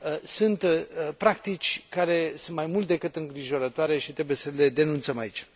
sunt practici care sunt mai mult decât îngrijorătoare și trebuie să le denunțăm aici.